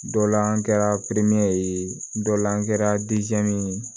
Dɔ la an kɛra perimɛri ye dɔ la an kɛra ye